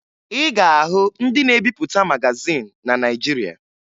Ị ga-ahụ ndị na-ebipụta magazin na Naịjirịa